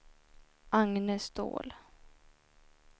Agne Ståhl